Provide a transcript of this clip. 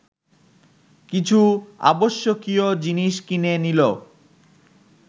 কিছু আবশ্যকীয় জিনিস কিনে নিল